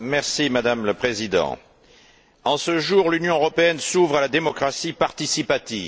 Madame la Présidente, en ce jour, l'Union européenne s'ouvre à la démocratie participative.